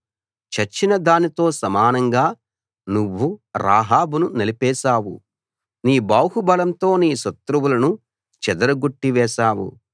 చచ్చిన దానితో సమానంగా నువ్వు రాహాబును నలిపేశావు నీ బాహుబలంతో నీ శత్రువులను చెదరగొట్టి వేశావు